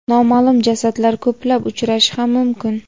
noma’lum jasadlar ko‘plab uchrashi ham mumkin.